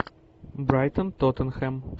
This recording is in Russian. брайтон тоттенхэм